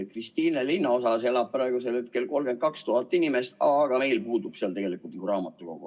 Kristiine linnaosas elab praegu 32 000 inimest, aga seal puudub tegelikult ju raamatukogu.